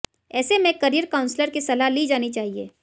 ऐसे में career counsellor की सलाह ली जानी चाहिए